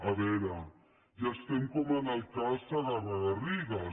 a veure ja estem com en el cas segarra garrigues